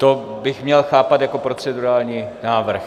To bych měl chápat jako procedurální návrh.